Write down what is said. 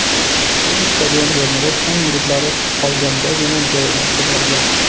Avtobus stadion o‘rnida chang bulutlari qolgandagina joyidan qo‘zg‘algan.